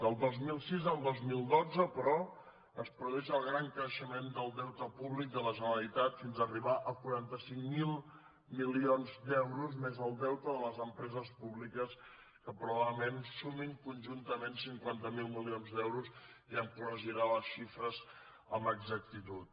del dos mil sis al dos mil dotze però es produeix el gran creixement del deute públic de la generalitat fins a arribar a quaranta cinc mil milions d’euros més el deute de les empreses públiques que probablement sumen conjuntament cinquanta miler milions d’euros ja em corregirà les xifres amb exactitud